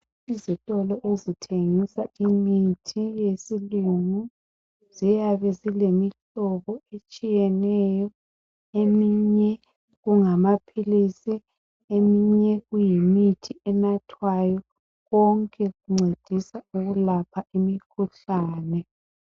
Izitolo ezithengisa imithi yesilungu ziyabe zilemihlobo etshiyeneyo, eminye kungamaphilisi eminye kuyimithi enathwayo, yonke incedisa ukulapha imikhuhlane.